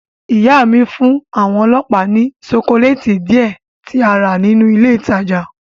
Ìyá mi fún àwọn ọlọ́pàá ní ṣokoléètì díẹ̀ tí a rà nínú ilé ìtajà.